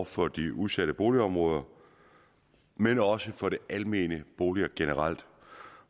for de udsatte boligområder men også for de almene boliger generelt